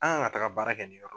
An kan ka taga baara kɛ nin yɔrɔ